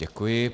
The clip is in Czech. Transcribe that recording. Děkuji.